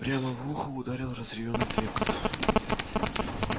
прямо в ухо ударил разъярённый клёкот